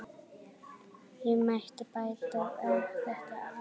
Ég mætti bæta þetta aðeins.